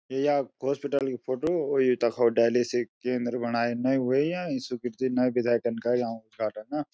ये याक हॉस्पिटल की फोटू और यू तखो डाईलिसीस केंद्र बनायण नयी वेय्याँ यि स्वीकृति नयी विधायक न कर याकू उद्घाटन न।